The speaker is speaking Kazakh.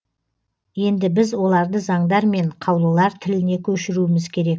енді біз оларды заңдар мен қаулылар тіліне көшіруіміз керек